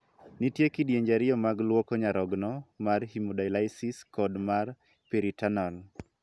Nitie kidienje ariyo mag luoko nyarogno: mar 'hemodialysis' kod mar 'peritoneal'.